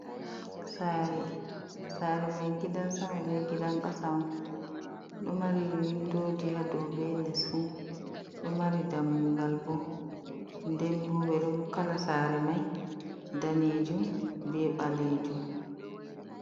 Sare, sare mai gidan sama be gidan kasa on ɗo mari windoji hadau be les fu. Ɗo mari dammugal. Ndenbo kala sare mai danejum be ɓalejum.